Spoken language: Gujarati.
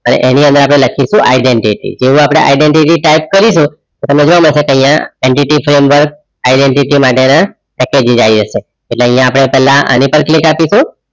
એની અંદર લખીસું અપડે identity જેવુ અપડે identitytype કરીસું જો તમને મફત આઇયાહ NDTframework identity માટે ના પેકેજિસઆય જસે એટલે અપડે આની પર click અપિસું